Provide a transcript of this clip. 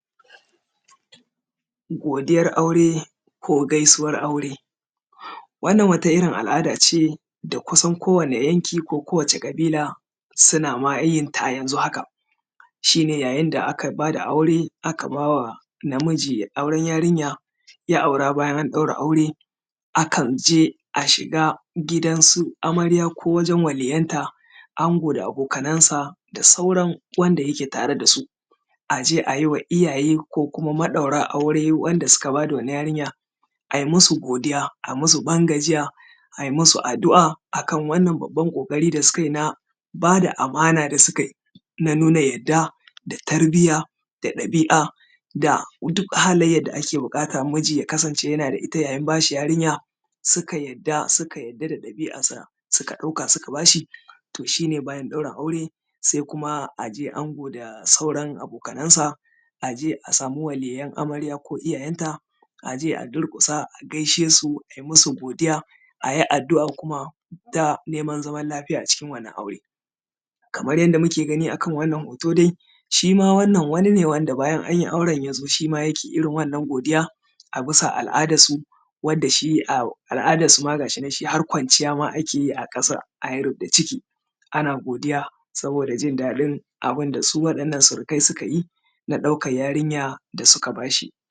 godiyar aure ko gaisuwar aure wannan wata irin al’ada ce da kusan ko wani yanki ko ƙabila suna ma yenta yanzu haka shine yayin da aka bada aure aka bawa namiji auren yarinya ya aura bayan an ɗaura aure akan je a shiga gidan su amarya ko wajen waliyanta ango da abokanan sa da sauran wanda yake tare dasu aje ayiwa iyaye ko kuma maɗaura aure wanda suka bada wannan yarinya ayi musu godiya a musu ban gajiya ayi musu addu’a akan wannan babban ƙoƙari da suka yin a bada amana da suka yin a nuna yadda da tarbiyya da ɗabi’a da duk halayyar da ake buƙata miji ya kasance yana da ita yayin bashi yarinya suka yadda suka yadda da ɗabi’arsa suka ɗauka suka bashi to shi ne bayan ɗaura aure sai kuma aje ango da sauran abokanan sa aje a samu waliyan amarya ko iyayen ta aje a durƙusa a gaishe su ayi musu godiya ayi addu’a kuma da neman zaman lafiya cikin wannan aure kamar yadda muke gani akan wannan hoto dai shima wannan wani ne wanda bayan anyi auren yazo shima yake irin wannan godiyar a bisa al’adar su wanda shi al’adar su ma gashi nan shi har kwanciya ma akeyi a ƙasa ayi rub da ciki ana godiya saboda jin daɗin abunda su waɗannan surukai sukayi na ɗaukar yarinya da suka bashi